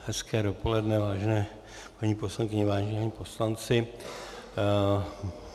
Hezké dopoledne, vážené paní poslankyně, vážení páni poslanci.